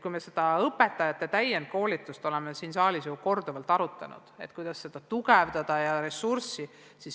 Oleme õpetajate täienduskoolitust siin saalis ju korduvalt arutanud, et kuidas seda tugevdada ja ressurssi lisada.